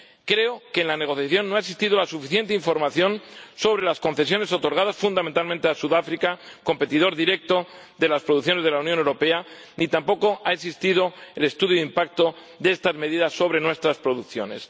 Creo que en la negociación no ha existido la suficiente información sobre las concesiones otorgadas fundamentalmente a Sudáfrica —competidor directo de las producciones de la Unión Europea—, ni tampoco ha existido el estudio de impacto de estas medidas sobre nuestras producciones.